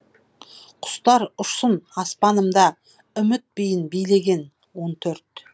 құстар ұшсын аспанымда үміт биін билеген он төрт